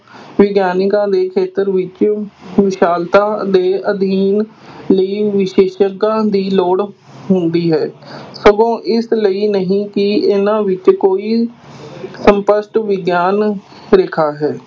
ਵਿਗਿਆਨਕਾਂ ਦੇ ਖੇਤਰ ਵਿੱਚ ਵਿਸ਼ਾਲਤਾ ਦੇ ਅਧਿਐਨ ਲਈ ਵਿਸ਼ੇਸ਼ਗਾਂ ਦੀ ਲੋੜ ਹੁੰਦੀ ਹੈ ਸਗੋਂ ਇਸ ਲਈ ਨਹੀਂ ਹੈ ਕਿ ਇਹਨਾਂ ਵਿਚ ਕੋਈ ਸਪੱਸ਼ਟ ਵਿਗਿਆਨ ਰੇਖਾ ਹੈ।